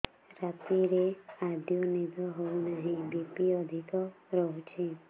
ରାତିରେ ଆଦୌ ନିଦ ହେଉ ନାହିଁ ବି.ପି ଅଧିକ ରହୁଛି